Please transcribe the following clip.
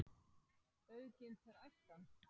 Auðginnt er æskan.